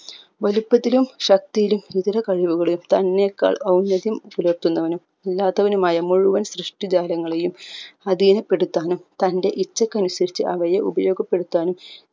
വലുപ്പത്തിലും ശക്തിലും ഇതര കഴിവുകളിലും തന്നെക്കാൾ ഔന്ദര്യം പുലർത്തുന്നവനും ഇല്ലാത്തവനുമായ മുഴുവൻ സൃഷ്ഠിജാലങ്ങളെയും അഥീനപ്പെടുത്താനും തന്റെ ഇച്ഛക്കനുസരിച്ച് അവയെ ഉപയോഗപ്പെടുത്താനും